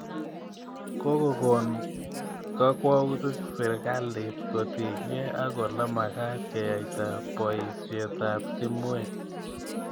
Koko kon kakwoutik sirikalit kotinykei ak ole makat keyaita poisyet ap timwek